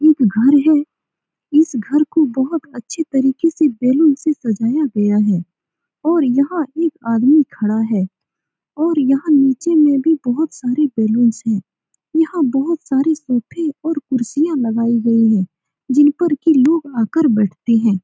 एक घर है इस घर को बहोत अच्छी तरीके से बैलून से सजाया गया है और यहाँ एक आदमी खड़ा है और यहाँ नीचे में भी बहोत सारे बैलून्स है यहाँ बहोत सारे सोफे और कुर्सियाँ लगायी गयी हैं जिन पर की लोग आ कर बैठते हैं ।